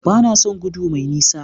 Ba na son gudu mai nisa.